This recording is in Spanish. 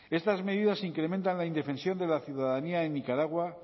estas medidas incrementan la indefensión de la ciudadanía en nicaragua